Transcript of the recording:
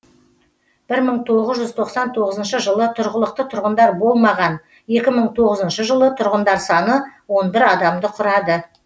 бір мың тоғыз жүз тоқсан тоғызыншы жылы тұрғылықты тұрғындар болмаған екі мың тоғызыншы жылы тұрғындар саны он бір адамды құрады